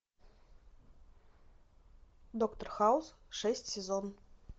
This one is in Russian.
доктор хаус шесть сезон